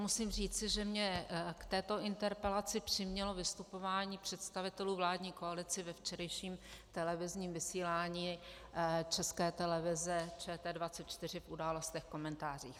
Musím říci, že mě k této interpelaci přimělo vystupování představitelů vládní koalice ve včerejším televizním vysílání České televize, ČT 24, v Událostech, komentářích.